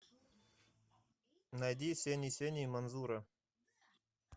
найди сени сени манзура